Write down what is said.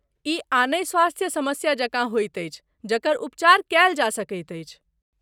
ई आनहि स्वास्थ्य समस्या जकाँ होइत अछि जकर उपचार कयल जा सकैत अछि।